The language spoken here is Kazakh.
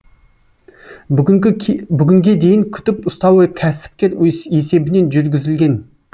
бүгінге дейін күтіп ұстауы кәсіпкер есебінен жүргізілген